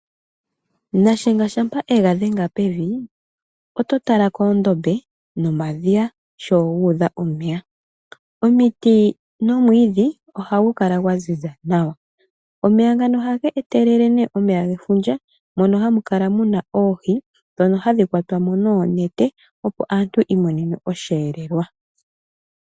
Nashenga shampa ega dhenga pevi oto tala koondombe nomadhiya sho gu udha omeya. Omiti nomwiidhi ohagu kala gwaziza nawa. Omeya ngano ohaga etelele omeya gefundja mono hamu kala muna oohi ndhono hadhi kwatwa mo noonete opo aantu yi imonene osheelelwa.